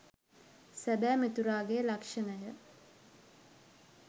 සැබෑ මිතුරාගේ ලක්‍ෂණය.